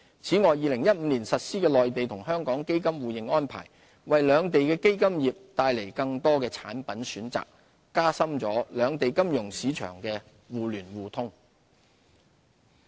此外 ，2015 年實施的內地與香港基金互認安排，為兩地的基金業帶來更多產品選擇，並加深兩地金融市場的互聯互通。